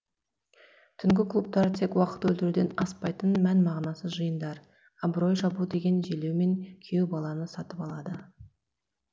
түнгі клубтар тек уақыт өлтіруден аспайтын мән мағынасыз жиындар абырой жабу деген желеумен күйеу баланы сатып алады